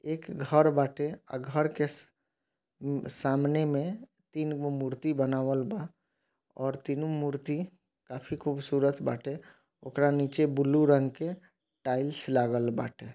एक घर बाटे अ-घर के स-सामने मे तीन गो मूर्ति बनावाल बा और तीनों मूर्ति काफी खुबशूरत बाटे उकड़ा नीचे बलू रंग के टाइल्स लागेल बाटे।